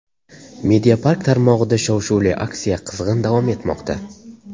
Mediapark tarmog‘ida shov-shuvli aksiya qizg‘in davom etmoqda!